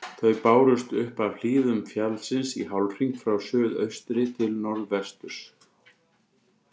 Þau bárust upp af hlíðum fjallsins í hálfhring frá suðaustri til norðvesturs.